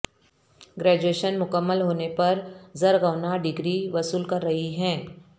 graduation مکمل ہونے پر زرغونہ ڈگری وصول کر رہی ہیں